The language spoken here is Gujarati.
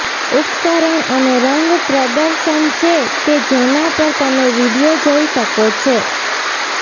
ઉપકરણ અને રંગ પ્રદર્શન છે કે જેના પર તમે વિડિઓ જોઈ શકો છો